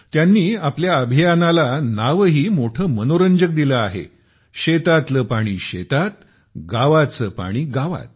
त्यांनी आपल्या अभियाना ला नावही मोठे मनोरंजक दिले आहे शेतातलं पाणी शेतातगावाचं पाणी गावात